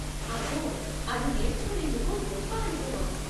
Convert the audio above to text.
అబ్బో! అది నేర్చుకునేందుకు గొప్ప అనుభవం.